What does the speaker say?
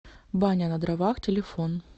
баня на дровах телефон